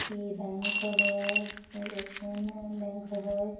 ये बैंक है ये ए_टी_एम बैंक है।